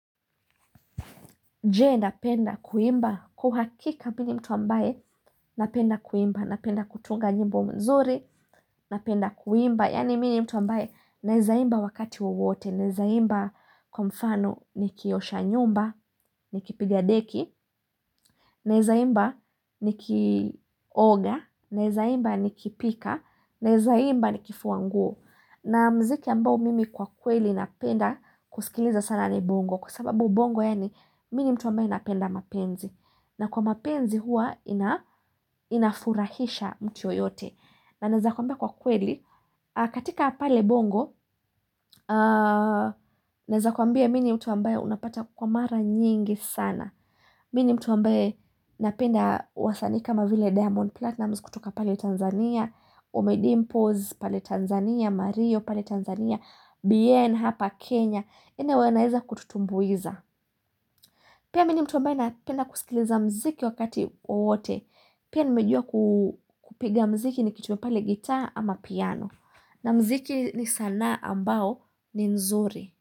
Je napenda kuimba?, kwauhakika mini mtu ambaye napenda kuimba, na penda kutunga nyimbo nzuri, na penda kuimba, yani mini mtu ambaye naweza imba wakati wowote, naweza imba kwa mfano ni kiosha nyumba, ni kipigadeki, nawezaimba ni kioga, nawezaimba ni kipika, nawezaimba ni kifuanguo. Na muziki ambao mimi kwa kweli ninapenda kusikiliza sana ni bongo kwasababu bongo yani mimi ni mtu ambaye ninapenda mapenzi na kwa mapenzi hua inafurahisha mtu yoyote na nawezakukuambia kwa kweli katika pale bongo nawezakwambia mimi ni mtu ambaye unapata kwamara nyingi sana mimi ni mtu ambaye napenda wasanii kama vile diamond platinumz kutoka pale Tanzania ommy dimpoz pale Tanzania marioo pale Tanzania bien hapa Kenya anyway anaweza kututumbuiza pia mimi ni mtu mbaye na penda kusikiliza muziki wakati wowote pia nimejua kupiga muziki nikichukua pale gita ama piano na muziki ni sanaa ambao ni nzuri.